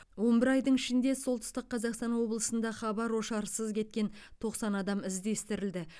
он бір айдың ішінде солтүстік қазақстан облысында хабар ошарсыз кеткен тоқсан адам іздестірілді